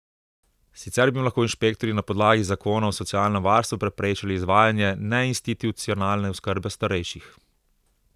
Sicer bi jim lahko inšpektorji na podlagi zakona o socialnem varstvu preprečili izvajanje neinstitucionalne oskrbe starejših.